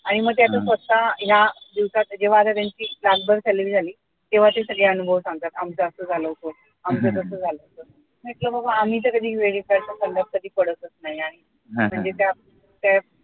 आणि मी त्या स्वतः या दिवसात जेव्हा आता त्यांची लाखभर salary झाली तेव्हा ते सगळे अनुभव सांगतात आमचं असं झालं होत आमचं तस झालं होत म्हटलं बाबा आम्ही तर कधी credit card फंद्यात कधी पडतच नाही म्हणजे त्या अह